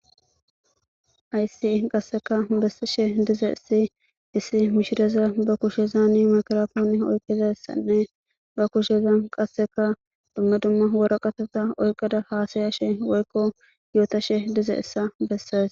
Haysii qasseka bessishe diza issi issi mishideza ba kushezaani makrafooni oyqiza issanne ba kushezan qasseka dumma dumma wora qatota oyqada haasaya she woykko yoota she dize issa besses.